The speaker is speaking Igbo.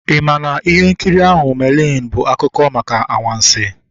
I maa na ihe nkiri ahụ "Merlin" bụ akụkọ maka anwansi?